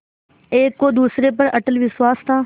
एक को दूसरे पर अटल विश्वास था